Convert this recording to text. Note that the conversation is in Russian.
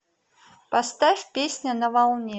поставь песня на волне